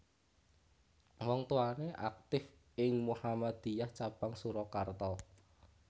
Wong tuwané aktif ing Muhammadiyah cabang Surakarta